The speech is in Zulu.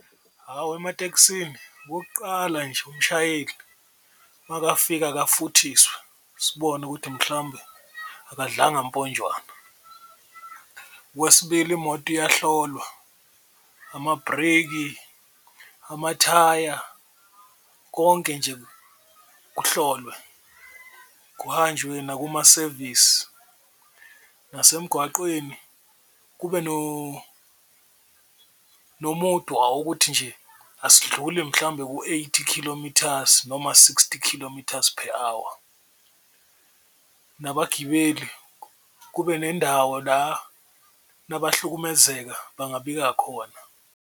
Hhawu, ematekisini okokuqala nje, umshayeli makafika akafuthiswe sibone ukuthi mhlawumbe akadlanga amponjwana. Okwesibili, imoto iyahlolwa, amabhreki, amathaya konke nje kuhlolwe, kuhanjwe nakumasevisi, nasemgwaqweni kube nomudwa wokuthi nje asindluli mhlawumbe ku-eighty kilometers noma sixty kilometers per hour, nabagibeli kube nendawo la nabahlukumezeka bangabika khona.